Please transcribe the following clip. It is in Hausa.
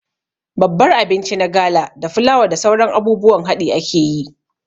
Babbar abinci na gala da fulawa da sauran abubuwan haɗi akeyi